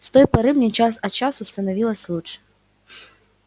с той поры мне час от часу становилось лучше